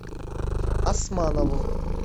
османову